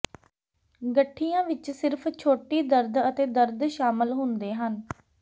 ਗਠੀਆ ਵਿੱਚ ਸਿਰਫ ਛੋਟੀ ਦਰਦ ਅਤੇ ਦਰਦ ਸ਼ਾਮਲ ਹੁੰਦੇ ਹਨ